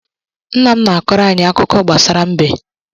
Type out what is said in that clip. Nna m na-akọrọ anyị akụkọ gbasara mbe.